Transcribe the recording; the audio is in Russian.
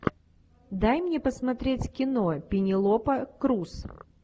дай мне посмотреть кино пенелопа крус